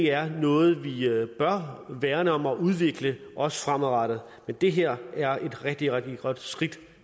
er noget vi bør værne om og udvikle også fremadrettet men det her er et rigtig rigtig godt skridt